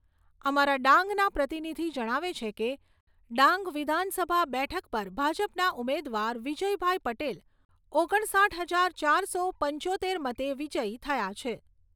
અમારા ડાંગના પ્રતિનિધિ જણાવે છે કે, ડાંગ વિધાનસભા બેઠક પર ભાજપના ઉમેદવાર વિજયભાઈ પટેલ ઓગણસાઈઠ હજાર ચારસો પંચોતેર મતે વિજયી થયા છે.